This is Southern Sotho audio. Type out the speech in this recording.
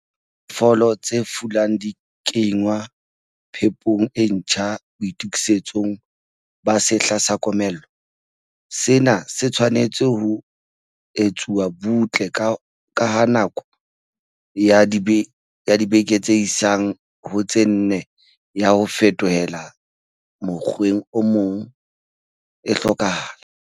Ha diphoofolo tse fulang di kenngwa phepong e ntjha boitokisetsong ba sehla sa komello, sena se tshwanetse ho etswa butle ka ha nako ya dibeke tse isang ho tse nne ya ho fetohela mokgweng o mong, e hlokahala.